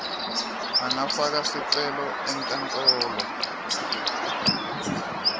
angafaka sicelo enkantolo